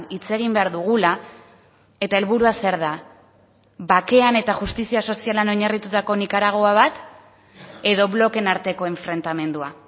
hitz egin behar dugula eta helburua zer da bakean eta justizia sozialean oinarritutako nikaragua bat edo blokeen arteko enfrentamendua